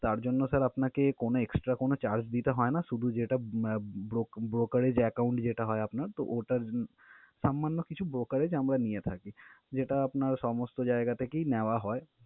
তার জন্য sir আপনাকে কোনো extra কোনো charge দিতে হয় না, শুধু যেটা আহ bro~ brokerage account যেটা হয় আপনার তো ওটার সামান্য কিছু brokerage আমরা নিয়ে থাকি, যেটা আপনার সমস্ত যায়গা থেকেই নেওয়া হয়।